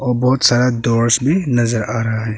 बहुत सारा डोर्स भी नजर आ रहा है।